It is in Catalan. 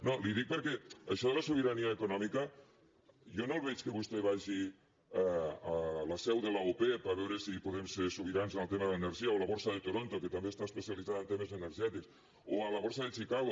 no li ho dic perquè això de la sobirania econòmica jo no veig que vostè vagi a la seu de l’opep a veure si podem ser sobirans en el tema de l’energia o a la borsa de toronto que també està especialitzada en temes energètics o a la borsa de chicago